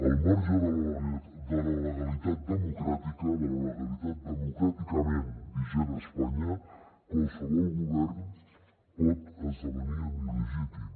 al marge de la legalitat democràtica de la legalitat democràticament vigent a espanya qualsevol govern pot esdevenir il·legítim